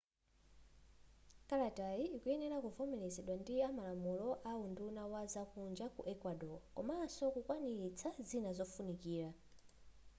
kalatayi ikuyenera kuvomelezedwa ndi malamulo ndi unduna wa zakunja ku ecuador komanso kukwaniritsa zina zofunifira